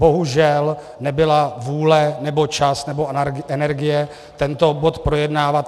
Bohužel nebyla vůle nebo čas nebo energie tento bod projednávat.